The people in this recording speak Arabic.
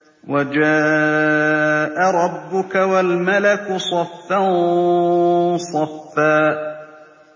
وَجَاءَ رَبُّكَ وَالْمَلَكُ صَفًّا صَفًّا